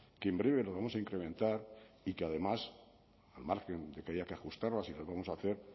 que en breve las vamos a incrementar y que además al margen de que haya que ajustarlas y lo vamos a hacer